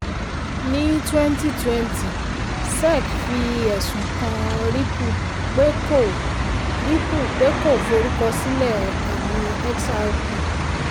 ní twenty twenty sec fi ẹ̀sùn kàn ripple pé kò ripple pé kò forúkọsílẹ̀ àmì xrp.